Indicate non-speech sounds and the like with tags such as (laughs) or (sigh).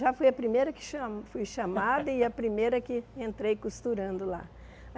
Já fui a primeira que cha fui chamada (laughs) e a primeira que entrei costurando lá.